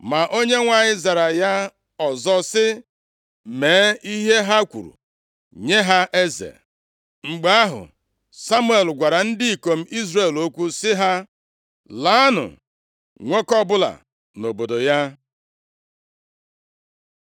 Ma Onyenwe anyị zara ya ọzọ sị, “Mee ihe ha kwuru, nye ha eze.” Mgbe ahụ, Samuel gwara ndị ikom Izrel okwu sị ha, “Laanụ, nwoke ọbụla nʼobodo ya.”